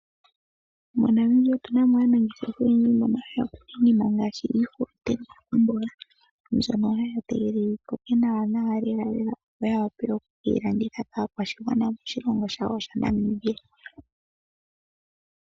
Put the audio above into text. MoNamibia otu na mo aanangeshefa oyendji mbono haya kunu iinima ngaashi iihulunde noomboga mbyono ha ya tegelele yi koke nawanawa lelalela opo ya wape ye keyi landithe nawa kaakwashigwana moshilongo shawo shaNamibia.